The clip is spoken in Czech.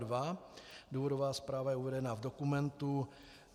Důvodová zpráva je uvedena v dokumentu.